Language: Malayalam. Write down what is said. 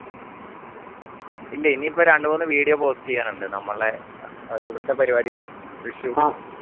ഇല്ല ഇനിപ്പോ രണ്ട് മൂന്ന് video post ചെയ്യാനുണ്ട് നമ്മളെ ഇവിടത്തെ പരിപാടിടെ വിഷു